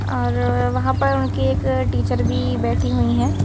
और वहां पर उनकी एक टीचर भी बैठी हुई हैं।